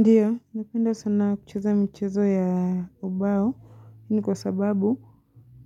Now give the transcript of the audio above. Ndiyo, napenda sana kucheza mchezo ya ubao ni kwa sababu